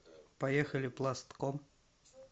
поехали пластком